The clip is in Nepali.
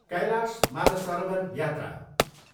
कैलाश मानसरोवर यात्रा।